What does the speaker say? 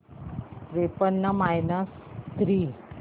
त्रेपन्न minus three